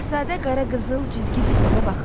Şahzadə Qara Qızıl cizgi filminə baxın.